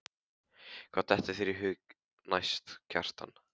Hvað dettur þér í hug næst, Kjartan?